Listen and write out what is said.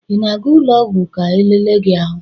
Ị na-aga ụlọ ọgwụ ka elele gi ahụ?